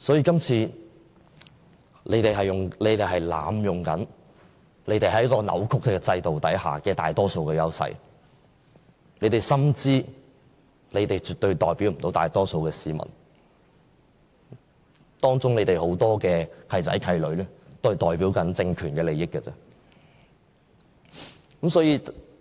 這次他們是在濫用、扭曲制度下的大多數優勢，他們心知絕對不能代表大多數市民，當中有很多"契仔契女"只代表政權的利益。